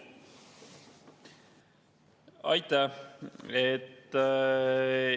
Aitäh!